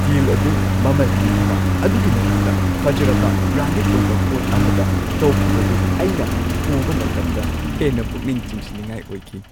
ꯗꯤꯜ ꯑꯗꯨ ꯃꯃꯜ ꯍꯟꯊꯕ ꯑꯗꯨꯒꯤ ꯃꯊꯛꯇ ꯐꯖꯔꯕ, ꯕ꯭ꯔꯥꯟꯗꯦꯗ ꯑꯣꯏꯕ ꯄꯣꯠ ꯑꯃꯗ ꯇꯧꯈꯤꯕꯗꯨ ꯑꯩꯅ ꯎꯕ ꯃꯇꯝꯗ ꯍꯦꯟꯅ ꯄꯨꯛꯅꯤꯡ ꯆꯤꯡꯁꯤꯟꯅꯤꯡꯉꯥꯏ ꯑꯣꯏꯈꯤ꯫